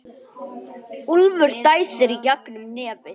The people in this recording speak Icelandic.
Úlfur dæsir í gegnum nefið.